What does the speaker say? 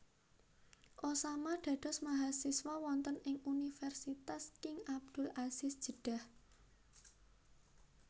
Osama dados mahasiswa wonten ing Universitas King Abdul Aziz Jeddah